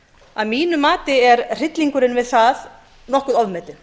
að mínu mati er hryllingurinn við það nokkuð ofmetinn